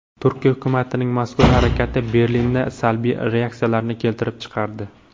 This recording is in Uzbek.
Turkiya hukumatining mazkur harakati Berlinda salbiy reaksiyalarni keltirib chiqardi.